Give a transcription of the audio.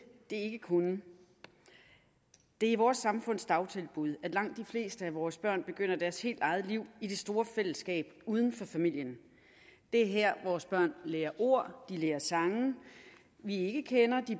det kunne det er i vores samfunds dagtilbud at langt de fleste af vores børn begynder deres helt eget liv i det store fællesskab uden for familien det er her vores børn lærer ord lærer sange vi ikke kender